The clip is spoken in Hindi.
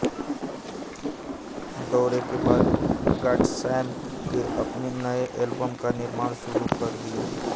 दौरे के बाद गॉडस्मैक ने अपने नए एल्बम का निर्माण शुरू कर दिया